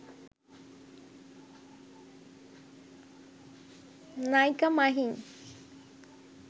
নায়িকা মাহি